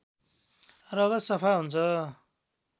रगत सफा हुन्छ